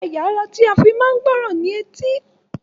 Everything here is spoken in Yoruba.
Ẹ̀ya ará tí a fí máa ń gbọ ọrọ ni etí